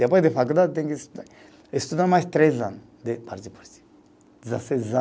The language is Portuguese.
Depois da faculdade, tem que estu, estudar mais três ano de